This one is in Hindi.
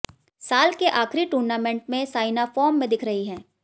साल के आखिरी टूर्नामेंट में साइना फॉर्म में दिख रही हैं